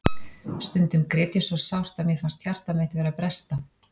Stundum grét ég svo sárt að mér fannst hjarta mitt vera að bresta.